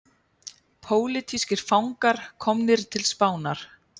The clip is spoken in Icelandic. Pólitískir fangar komnir til Spánar